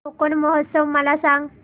कोकण महोत्सव मला सांग